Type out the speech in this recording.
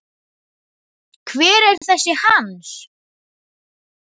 Hver er þessi Hans?